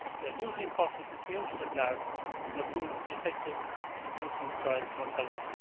they are hugely important for communities at large and are proven to be effective in reducing child mortality.